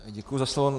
Děkuji za slovo.